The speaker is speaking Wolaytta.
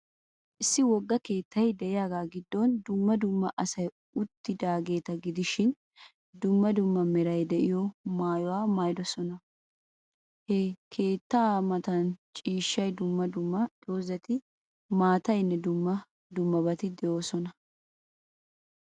Issi wogga keettay de'iyaaga giddon dumma dumma asay uttidaageeta gidishin, dumma dumma meray de'iyo maayuwa maayidosona. He keettaa Matan ciishshay, dumma dumma dozati, maataynne dumma dummabati de'oosona. As